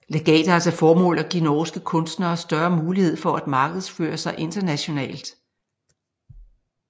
Legatet har til formål at give norske kunstnere større mulighed for at markedsføre sig internationalt